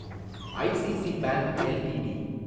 ICC bank LTD